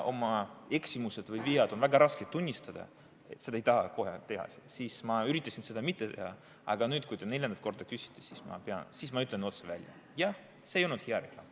Oma eksimusi ja vigu on väga raske tunnistada, seda ei taha kohe teha, ma üritasin seda mitte teha, aga nüüd, kui te neljandat korda küsite, siis ma ütlen otse välja: jah, see ei olnud hea reklaam.